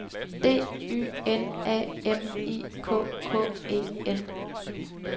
D Y N A M I K K E N